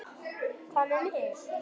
Hvað með mig?